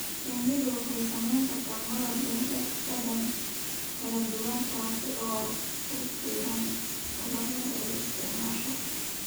Shinnidu waxay samayn kartaa malab leh dhadhan kala duwan taas oo ku xidhan ubaxyada ay isticmaasho.